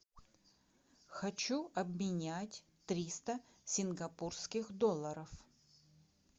хочу обменять триста сингапурских долларов